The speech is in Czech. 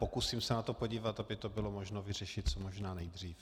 Pokusím se na to podívat, aby to bylo možno vyřešit co možná nejdřív.